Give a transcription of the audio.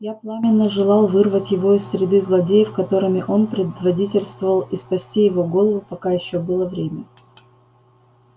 я пламенно желал вырвать его из среды злодеев которыми он предводительствовал и спасти его голову пока ещё было время